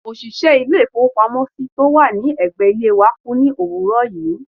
òṣìṣẹ́ ilé-ìfowópamọ́sí tó wà ní ẹ̀gbẹ́ ilé wa kú ní òwúrọ̀ yìí.